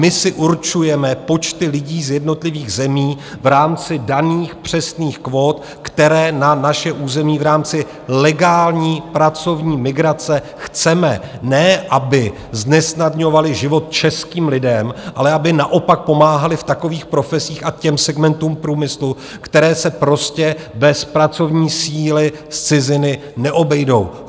My si určujeme počty lidí z jednotlivých zemí v rámci daných přesných kvót, které na naše území v rámci legální pracovní migrace chceme - ne aby znesnadňovaly život českým lidem, ale aby naopak pomáhaly v takových profesích a těm segmentům průmyslu, které se prostě bez pracovní síly z ciziny neobejdou.